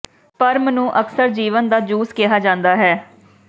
sperm ਨੂੰ ਅਕਸਰ ਜੀਵਨ ਦਾ ਜੂਸ ਕਿਹਾ ਜਾਂਦਾ ਹੈ